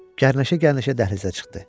Gərnəşə-gərnəşə dəhlizə çıxdı.